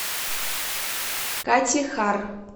катихар